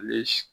Ale